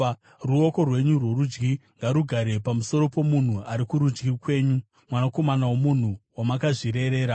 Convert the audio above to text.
Ruoko rwenyu rworudyi ngarugare pamusoro pomunhu ari kurudyi kwenyu, mwanakomana womunhu wamakazvirerera.